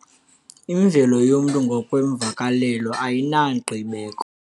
Imvelo yomntu ngokweemvakalelo ayinangqibeko.